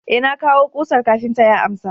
eh na kawo kusar kafinta ya amsa